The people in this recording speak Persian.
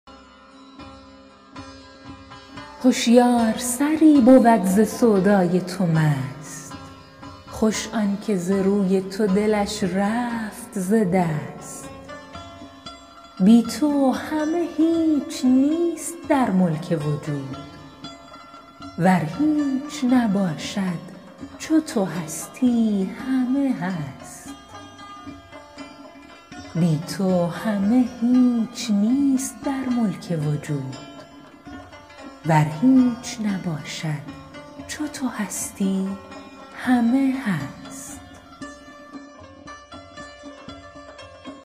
هشیار سری بود ز سودای تو مست خوش آن که ز روی تو دلش رفت ز دست بی تو همه هیچ نیست در ملک وجود ور هیچ نباشد چو تو هستی همه هست